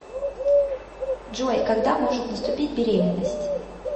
джой когда может наступить беременность